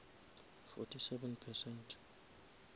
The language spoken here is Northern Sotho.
fourty seven percent